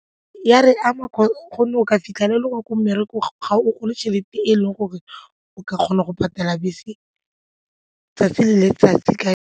E a re ama gonne o ka fitlhelela e le gore ko mmerekong ga o gole tšhelete e leng gore o ka kgona go patela bese 'tsatsi le letsatsi ka.